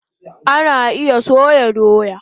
Ana iya soya doya